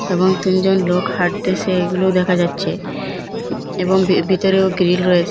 এবং তিনজন লোক হাঁটতেছে এগুলোও দেখা যাচ্ছে এবং ভিতরেও গ্রিল রয়েছে।